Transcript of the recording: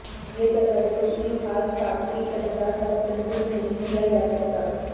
یہ تصور کسی خاص ساختی اجزاء تک محدود نہیں کیا جا سکتا